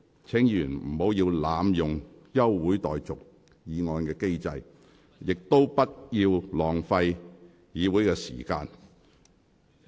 請議員不要濫用休會待續議案的機制，亦不要浪費議會的時間。